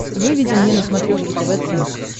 выведи мне на смотрешке тв центр